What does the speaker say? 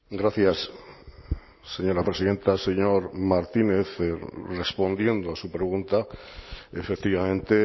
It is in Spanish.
gracias señora presidenta señor martínez respondiendo a su pregunta efectivamente